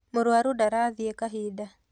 Mũrũaru ndarathiĩ kahinda